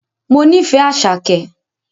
Mo nífẹ̀ẹ́ Àṣàkẹ́